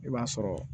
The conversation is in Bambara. I b'a sɔrɔ